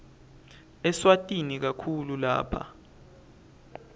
eswatini kakhulu lapha